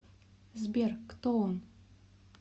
сбер кто он